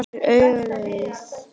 Það gefur auga leið